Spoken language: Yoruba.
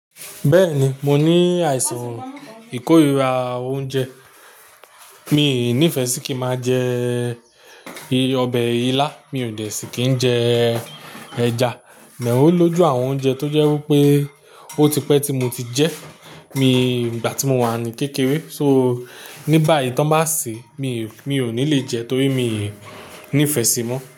Bẹ́ẹ̀ni, mo ní àìsàn ìkórira oúnjẹ. Mi ò nífẹẹ sí kí máa jẹ ọbẹ̀ ilá, mi ò de sí kí n jẹ ẹja, "then" o lójú àwọn oúnjẹ tó jẹ́ wí pé ó ti pẹ́ tí mo ti jẹ́ mi ìgbà tí mo wà ní kékeré. "So", ní báyìí tí wọ́n bá sè mí, mi ò ní le jẹ torí mi ò nífẹẹ síi mọ́